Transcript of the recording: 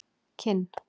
Kinn